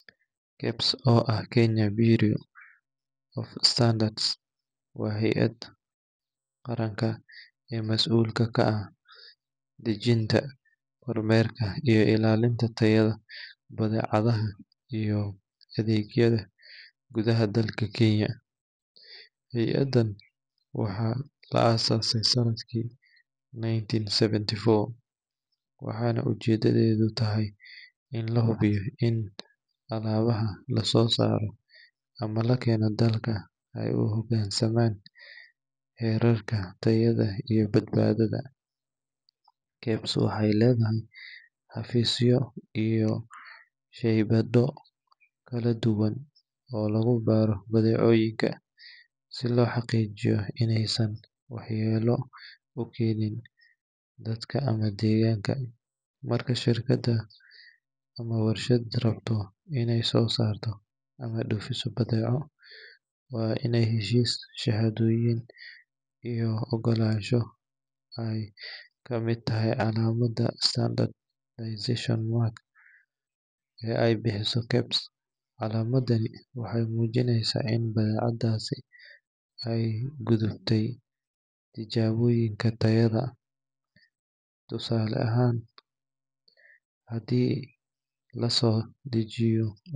kebs oo ah kenya bureau of standards waa heyad qaranka masuulka ka ah tajinga iyo badeecada gudaha Kenya, ujeedada waxaa waye in lahubiyo in alabaha uhogansamaan wadanka, marka shirkada rabto ineey soo saarto badeeco waa inaay heshis ama shahado kahesho hirkadan, calamadaas oo tusineyso in aay uhogansante sharciga.